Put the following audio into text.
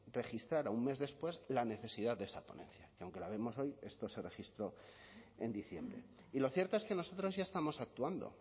registrara un mes después la necesidad de esa ponencia que aunque la vemos hoy esto se registró en diciembre y lo cierto es que nosotros ya estamos actuando